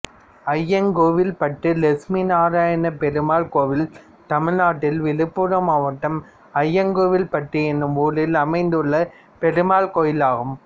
அய்யங்கோவில்பட்டு லட்சுமிநாராயணப்பெருமாள் கோயில் தமிழ்நாட்டில் விழுப்புரம் மாவட்டம் அய்யங்கோவில்பட்டு என்னும் ஊரில் அமைந்துள்ள பெருமாள் கோயிலாகும்